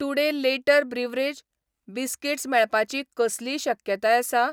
Today later beverage , biscuits मेळपाची कसलीय शक्यताय आसा ?